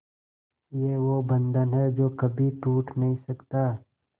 ये वो बंधन है जो कभी टूट नही सकता